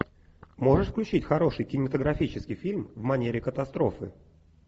можешь включить хороший кинематографический фильм в манере катастрофы